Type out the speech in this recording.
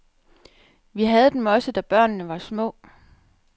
Vi havde dem også, da børnene var små.